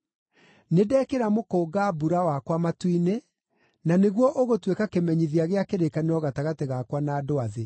Nĩndekĩra mũkũnga-mbura wakwa matu-inĩ, na nĩguo ũgũtuĩka kĩmenyithia gĩa kĩrĩkanĩro gatagatĩ gakwa na andũ a thĩ.